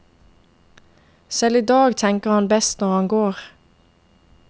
Selv i dag tenker han best når han går.